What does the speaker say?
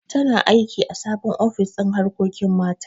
Tana aiki ã sabon ofis kin harkokin mata.